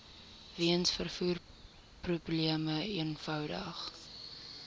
weens vervoerprobleme eenvoudig